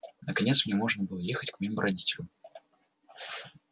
наконец мне можно было ехать к моим родителям